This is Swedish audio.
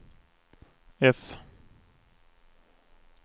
F